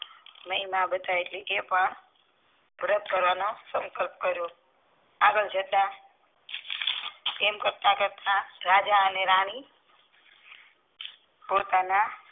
મહિમા એટલે કે તે પણ વ્રત કરવાનો સંકલ્પ કરીયો આગળ જતા તેમ કરતા કરતા રાજા અને રાની પૂરતા ના